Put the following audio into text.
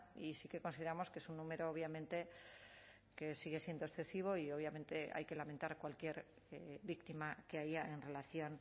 y sí que consideramos que es un número obviamente que sigue siendo excesivo y obviamente hay que lamentar cualquier víctima que haya en relación